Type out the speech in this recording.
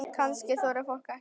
Kannski þorði fólk ekki annað?